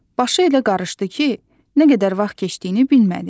Başı elə qarışdı ki, nə qədər vaxt keçdiyini bilmədi.